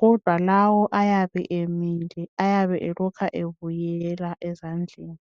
kodwa lawo ayabe emile ayabe elokha ebuyela ezandleni.